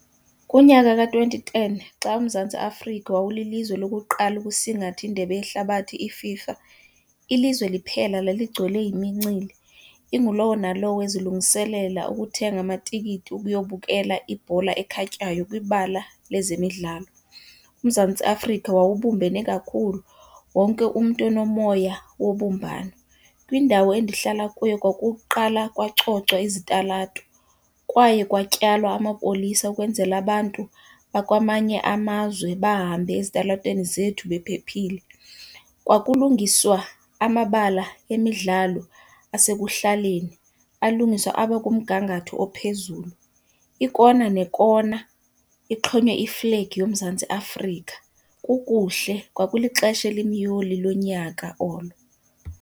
Kunyaka ka-twenty ten xa uMzantsi Afrika wawulilizwe lokuqala ukusingatha indebe yehlabathi iFIFA, ilizwe liphela laligcwele yimincili. Ingulowo nalowo ezilungiselela ukuthenga amatikiti okuyobukela ibhola ekhatywayo kwibala lezemidlalo. UMzantsi Afrika wawubumbene kakhulu, wonke umntu enomoya wobumbano. Kwindawo endihlala kuyo kwakuqala kwacocwa izitalato kwaye kwatyalwa amapolisa ukwenzela abantu bakwamanye amazwe bahambe ezitalatweni zethu bephephile. Kwakulungiswa amabala emidlalo asekuhlaleni, alungiswa aba kumgangatho ophezulu. Ikona nekona ixhonywe iflegi yoMzantsi Afrika kukuhle, kwakulixesha elimyoli lonyaka olo.